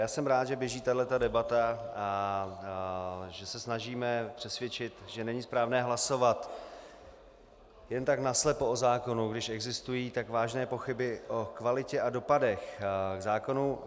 Já jsem rád, že běží tahle debata, že se snažíme přesvědčit, že není správné hlasovat jen tak naslepo o zákonu, když existují tak vážné pochyby o kvalitě a dopadech zákonů.